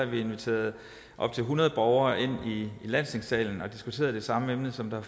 vi inviteret op til hundrede borgere ind i landstingssalen for at diskutere det samme emne som der